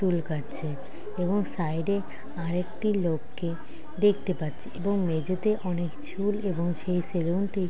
চুল কাটছে। এবং সাইডে আরেকটি লোককে দেখতে পাচ্ছি এবং মেঝেতে অনেক চুল এবং সেই সেলুনটি--